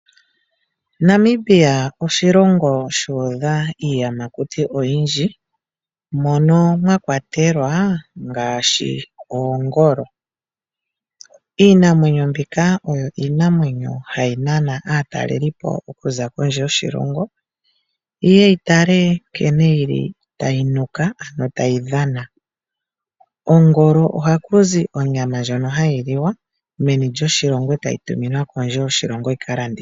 Namibia oshilongo shuudha iiyamakuti oyindji, mono mwakwatelwa ngaashi oongolo. Iinamwenyo mbika oyo iinamwenyo ndjoka hayi nana aataleli okuza kondje yoshilongo yitalike nkene tayi nuka nenge tayi dhana. Kongolo ohakuzi onyama ndjono hayi liwa meni lyoshilongo, etayi tuminwa kondje yoshilongo yikalandithwe.